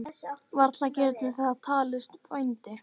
Varla getur það talist vændi?